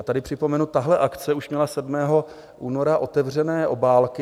A tady připomenu, tahle akce už měla 7. února otevřené obálky.